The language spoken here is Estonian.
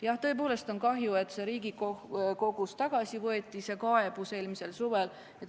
Jah, tõepoolest on kahju, et Riigikohtust see kaebus eelmisel suvel tagasi võeti.